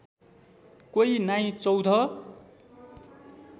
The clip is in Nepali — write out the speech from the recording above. क्वै नाई चौध